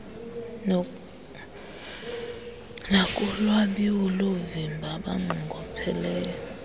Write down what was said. nakulwabiwo loovimba abanqongopheleyo